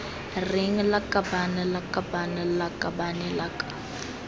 reng lakabaaan lakabaaan lakabane lak